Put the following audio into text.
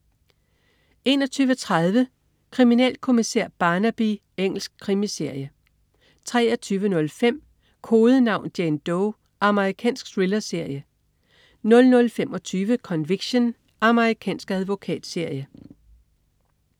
21.30 Kriminalkommissær Barnaby. Engelsk krimiserie 23.05 Kodenavn: Jane Doe. Amerikansk thrillerserie 00.25 Conviction. Amerikansk advokatserie